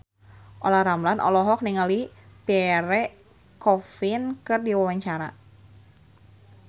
Olla Ramlan olohok ningali Pierre Coffin keur diwawancara